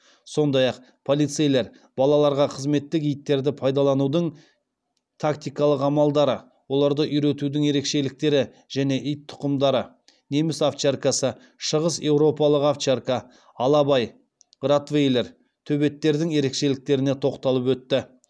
сондай ақ полицейлер балаларға қызметтік иттерді пайдаланудың тактикалық амалдары оларды үйретудің ерекшеліктері және ит тұқымдары неміс овчаркасы шығыс еуропалық овчарка алабай ротвейлер төбеттердің ерекшеліктеріне тоқталып өтті